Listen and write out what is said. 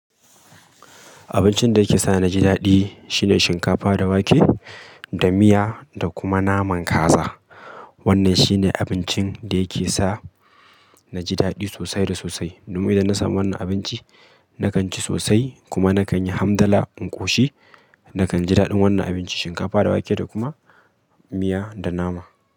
Abincin da yake sa na ji daɗi shine shinkafa da wake da miya da kuma naman kaza. Wannan shine abincin da yake sa na ji daɗi sosai da sosai. Domin idan na samu wannan abinci, na kan ci sosai kuma na kan yi hamdala in ƙoshi. Na kan ji daɗin wannan abinci, shinkafa da wake da kuma miya da nama.